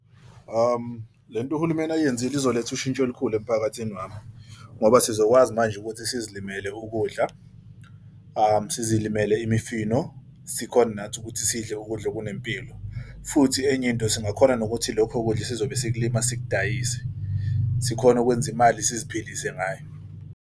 Le nto uhulumeni ayenzile izoletha ushintsho olukhulu emphakathini wami. Ngoba sizokwazi manje ukuthi sizilimele ukudla, sizilimele imifino, sikhone nathi ukuthi sidle ukudla okunempilo futhi enye into singakhona nokuthi lokho kudla sizobe esikulima, sidayise sikhone ukwenza imali siziphilise ngayo.